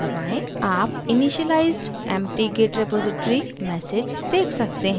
आप initialized empty git repository message देख सकते हैं